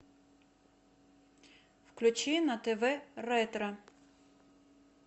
включи на тв ретро